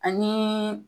Ani